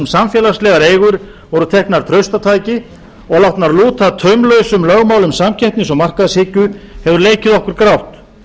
samfélagslegar eigur voru teknar traustataki og látnar lúta taumlausum lögmálum samkeppnis og markaðshyggju hefur leikið okkur grátt